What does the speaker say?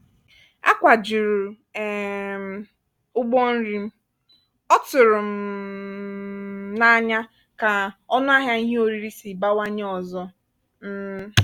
akwajuru um m ụgbọ nri m ọ tụrụm um n'anya ka ọnụahịa ihe oriri si bawanye ọzọ um